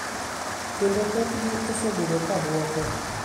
Kendo thothgi osebedo ka dwoko.